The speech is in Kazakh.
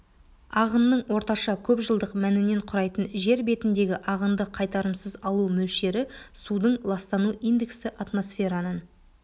ағынның орташа көпжылдық мәнінен құрайтын жер бетіндегі ағынды қайтарымсыз алу мөлшері судың ластану индексі атмосфераның